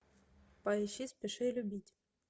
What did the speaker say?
поищи спеши любить